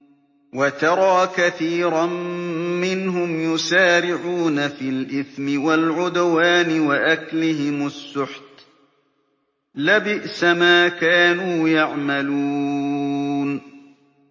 وَتَرَىٰ كَثِيرًا مِّنْهُمْ يُسَارِعُونَ فِي الْإِثْمِ وَالْعُدْوَانِ وَأَكْلِهِمُ السُّحْتَ ۚ لَبِئْسَ مَا كَانُوا يَعْمَلُونَ